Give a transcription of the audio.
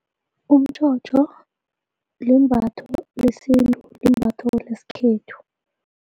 Umtjhotjho limbatho lesintu limbatho lesikhethu.